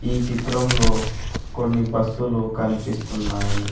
ఈ చిత్రంలో కొన్ని బస్సులు కనిపిస్తున్నాయి.